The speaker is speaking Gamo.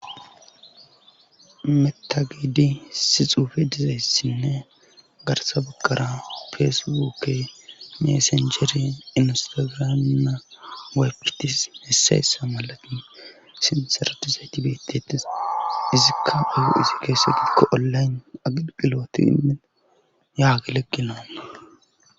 Meta gedi issi xuufe dizayssinne garsa bagara feesiwookke messenjeri inistigirana weqkitis hessayessa malatin sinsaratizayti beettetis izikka bugu izi geessetiko ollayn aqiqiloti inmin yaaglegilalu.